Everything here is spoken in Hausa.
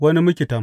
Wani miktam.